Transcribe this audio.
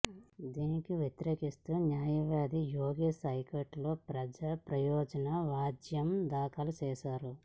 దీనిని వ్యతిరేకిస్తూ న్యాయవాది యోగేష్ హైకోర్టులో ప్రజా ప్రయోజన వ్యాజ్యం దాఖలు చేశారు